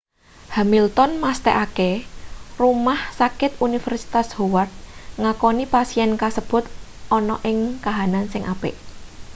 hamilton mesthekake rumah sakit universitas howard ngakoni pasien kasebut ana ing kahanan sing apik